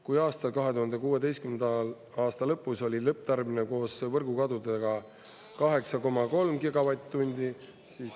Kui aastal 2016. aasta lõpus oli lõpptarbimine koos võrgukadudega 8,3 gigavatt-tundi ...